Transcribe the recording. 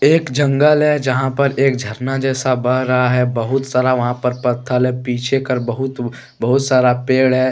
एक जंगल है जहां पर एक झरना जैसा बह रहा है। बहुत सारा वहां पर पत्थर है पीछे कर बहुत बहुत सारा पेड़ है।